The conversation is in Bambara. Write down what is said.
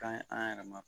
Ka ɲi an yɛrɛ ma